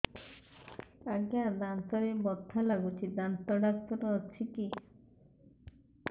ଆଜ୍ଞା ଦାନ୍ତରେ ବଥା ଲାଗୁଚି ଦାନ୍ତ ଡାକ୍ତର ଅଛି କି